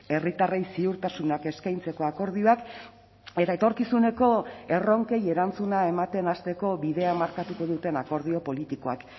herritarrei ziurtasunak eskaintzeko akordioak eta etorkizuneko erronkei erantzuna ematen hasteko bidea markatuko duten akordio politikoak